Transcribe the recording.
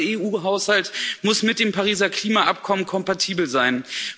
Der gesamte EU Haushalt muss mit dem Pariser Klimaschutzübereinkommen kompatibel sein.